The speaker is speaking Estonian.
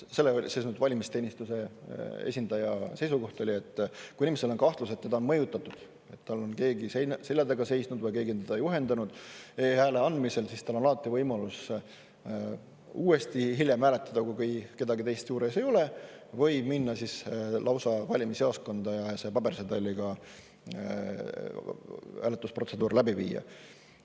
Valimisteenistuse esindaja seisukoht oli, et kui inimesel on kahtlus, et teda on mõjutatud, või tal on keegi selja taga seisnud või keegi on teda juhendanud e-hääle andmisel, siis tal on alati võimalus hiljem uuesti hääletada, kui kedagi teist juures ei ole, või minna lausa valimisjaoskonda ja pabersedeliga hääletusprotseduur läbi teha.